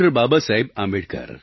Babasaheb Ambedkar